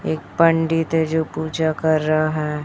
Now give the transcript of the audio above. एक पंडित है जो पूजा कर रहा है।